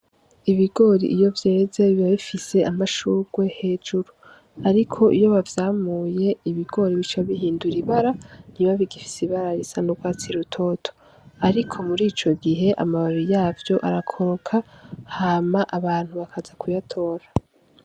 Ibigori iyo vyeze biba bifise amashurwe hejuru, ariko iyo bavyamuye ibigori bica bihindura ibara ntibiba bigifise ibara ry'urwatsi rutoto, ariko muri ico gihe amababi yavyo arakoroka hama abantu bakaza kuyatora.